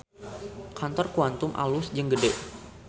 Kantor Quantum alus jeung gede